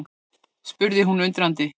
spurði hún undrandi.